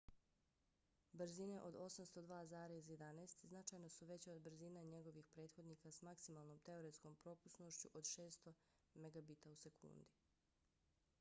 brzine od 802,11n značajno su veće od brzina njegovih prethodnika s maksimalnom teoretskom propusnošću od 600mbit/s